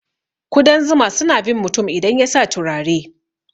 Kudan zuma suna bin mutum idan yasa turare.